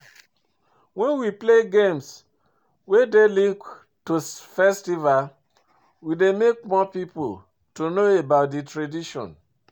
When we play games wey dey linked to festival, we dey make more pipo to know about di tradition